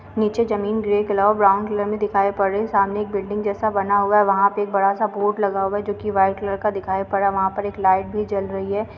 नीचे जमीन grey colour और ब्राउन कलर में दिखाई पड़ रही है। सामने एक बिल्डिंग जैसा बना हुआ है वहाँ पे एक बड़ा सा बोर्ड लगा हुआ है जो कि वाइट कलर का दिखाई पड़ रहा है | वहाँ पर एक लाइट भी जल रही है।